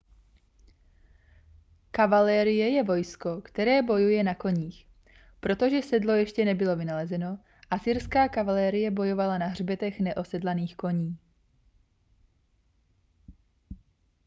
kavalérie je vojsko které bojuje na koních protože sedlo ještě nebylo vynalezeno asyrská kavalérie bojovala na hřbetech neosedlaných koní